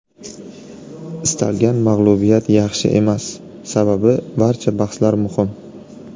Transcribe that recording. Istalgan mag‘lubiyat yaxshi emas, sababi barcha bahslar muhim.